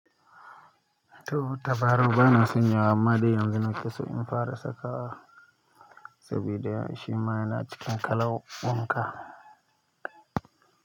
To, tabarau ba na sanya wa amma dai yanzu na kusa in fara sakawa saboda shi ma yana cikin kalan wanka.